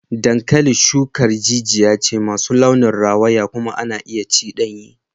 Dankalin Hausa shukar jijiya ce masu launin rawaya kuma ana iya ci danye.